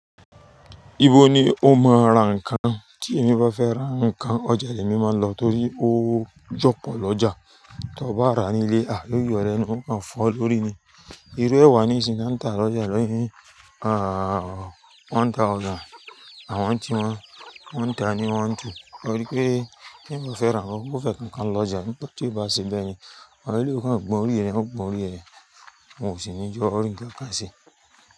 Ibo ni o máa ra nǹkan? Tí emi bá fẹ́ ra nǹkan, ọjà ni emi máa ń lọ torí ó jọ̀pọ̀ lọ́jà. Tí ọ bá ra ní ilé, à lójù ẹ́ ni wọ́n á fọ́ ọ lórí ni. Irú ẹwà ni ìsìn tan tá lọ́jà lóní, à, one thousand àwọn tí wọ́n, wọ́n ta ni wan tu. Ó rí pé teyan bá fẹ́ ra nǹkan, ó fẹ́ kánkań lọ ọjà. Ṣùgbọ́n tí ó bá ṣẹ bẹ́ẹ̀ ni, awon eleyii okan gbọ́n orí rẹ̀, won gbọ́n orí rẹ̀, won ò sì ní je ọ́ rí nǹkan ṣe.